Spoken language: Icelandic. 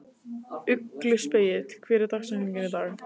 Ugluspegill, hver er dagsetningin í dag?